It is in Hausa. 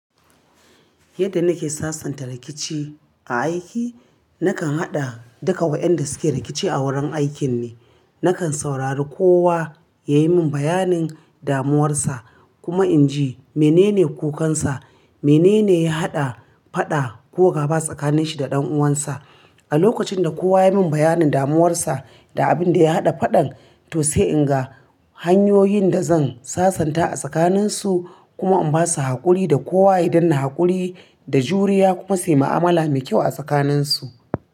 Yanda nake sasanta rikici a aiki, nakan haɗa duka waƴanda suke rikici a wurin aikin ne. Nakan saurari kowa ya yi min bayanin damuwarsa kuma in ji menene kukansa, menene ya haɗa faɗa ko gaba tsakaninshi da ɗan'uwansa. A lokacin da kowa ya yi min bayanin damuwarsa da abin da ya haɗa faɗan, to sai in ga hanyoyin da zan sasanta a tsakaninsu kuma in ba su haƙuri da kowa ya danna haƙuri da juriya kuma su yi ma'amala mai kyau a tsakaninsu.